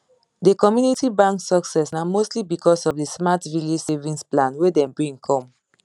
the community bank success na mostly because of the smart village savings plan wey dem bring come